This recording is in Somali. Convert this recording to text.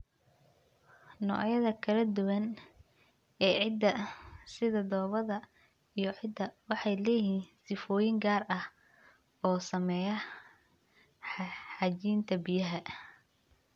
Noocyada kala duwan ee ciidda, sida dhoobada iyo ciidda, waxay leeyihiin sifooyin gaar ah oo saameeya xajinta biyaha.